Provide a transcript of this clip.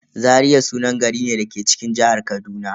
Zaria sunan gari ne da ke cikin jihar Kaduna.